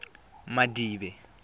madibe